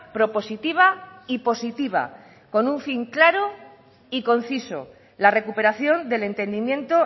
propositiva y positiva con un fin claro y conciso la recuperación del entendimiento